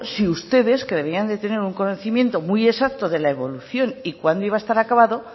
si ustedes que deberían de tener un conocimiento muy exacto de la evolución y cuándo iba a estar acabado